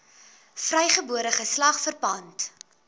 vrygebore geslag verpand